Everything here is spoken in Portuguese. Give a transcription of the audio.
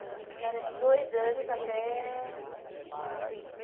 A faixa etária é de dois anos até cinco.